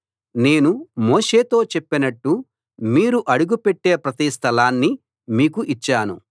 నేను మోషేతో చెప్పినట్టు మీరు అడుగుపెట్టే ప్రతి స్థలాన్నీ మీకు ఇచ్చాను